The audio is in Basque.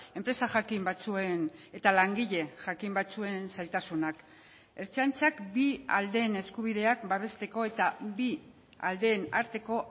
enpresa jakin batzuen eta langile jakin batzuen zailtasunak ertzaintzak bi aldeen eskubideak babesteko eta bi aldeen arteko